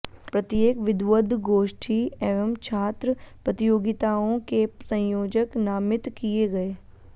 प्रत्येक विद्वदगोष्ठी एवं छात्र प्रतियोगिताओं के संयोजक नामित किये गये